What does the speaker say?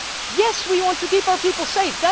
Yes, we want to keep our people safe.